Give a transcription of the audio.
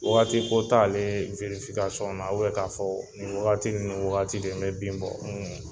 Wagati ko t'a werifikasɔn na u bɛn ka fɔ ni wagati ni wagati de n be bin bɔ